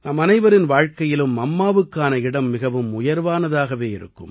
நம்மனைவரின் வாழ்க்கையிலும் அம்மாவுக்கான இடம் மிகவும் உயர்வானதாகவே இருக்கும்